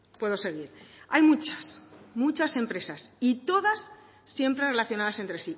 puedo seguir hay muchas muchas empresas y todas siempre relacionadas entre